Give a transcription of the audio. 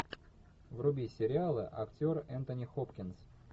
вруби сериалы актер энтони хопкинс